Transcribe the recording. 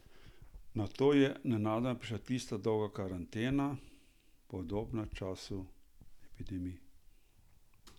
Nato je nenadoma prišla tista dolga karantena, podobna času epidemij.